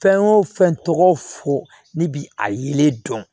Fɛn o fɛn tɔgɔ fɔ ne bi a yelen dɔn